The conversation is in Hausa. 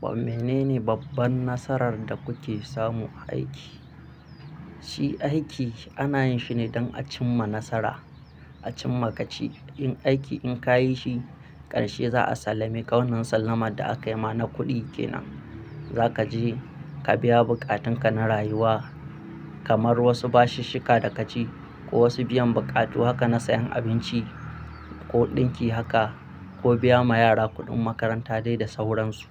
Wa mene ne babban nasarar da kuke samu a aiki? Shi aiki ana yin shi ne don a cim ma nasara, a cim ma gaci. In aiki in ka yi shi ƙarshe za a sallame ka wannan sallamar da aka yi ma na kuɗi kenan. Za ka je ka biya bukatunka na rayuwa kamar wasu bashishika da ka ci ko wasu biyan buƙatu haka na sayan abinci ko ɗinki haka ko biya ma yara kuɗin makaranta dai da sauransu.